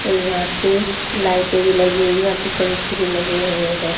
और यहाँ पे लाइटें भी लगी हुई है और पंखे भी लगे हुए है।